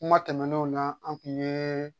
Kuma tɛmɛnenw na an kun ye